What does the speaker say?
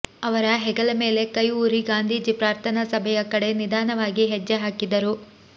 ಅವರ ಹೆಗಲ ಮೇಲೆ ಕೈ ಊರಿ ಗಾಂಧೀಜಿ ಪ್ರಾರ್ಥನಾ ಸಭೆಯ ಕಡೆ ನಿಧಾನವಾಗಿ ಹೆಜ್ಜೆ ಹಾಕಿದರು